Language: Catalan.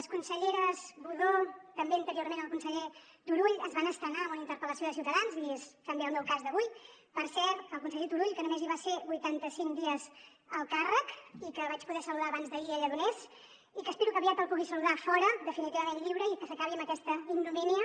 la consellera budó i també anteriorment el conseller turull es van estrenar amb una interpel·lació de ciutadans i és també el meu cas d’avui per cert el conseller turull que només hi va ser vuitanta cinc dies al càrrec i que vaig poder saludar abans d’ahir a lledoners i que espero que aviat el pugui saludar fora definitivament lliure i que s’acabi amb aquesta ignomínia